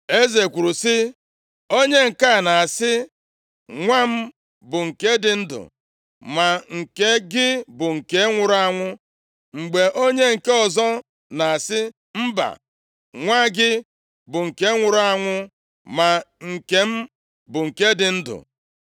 Eze kwuru sị, “Onye nke a na-asị, ‘Nwa m bụ nke dị ndụ, ma nke gị bụ nke nwụrụ anwụ,’ mgbe onye nke ọzọ na-asị, ‘Mba! Nwa gị bụ nke nwụrụ anwụ, ma nke m bụ nke dị ndụ.’ ”